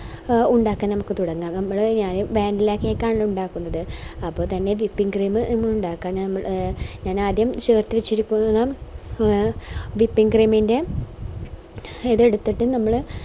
A ഉണ്ടാക്കാൻ നമുക്ക് തുടങ്ങാം നമ്മള് ഞാന് vanilla cake ആണ് ഉണ്ടാക്കുന്നത് അപ്പൊ തന്നെ whipping cream ഇണ്ടാക്കാൻ എ ഞാനാദ്യം whipping cream ൻറെ ഇത് എടുത്തിട്ട് നമ്മള്